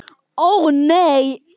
Ó nei!